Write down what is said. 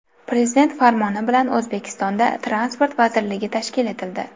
Prezident farmoni bilan O‘zbekistonda Transport vazirligi tashkil etildi.